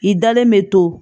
I dalen bɛ to